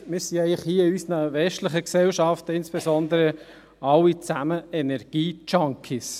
«Eigentlich sind wir alle in unseren westlichen Gesellschaften Energiejunkies.».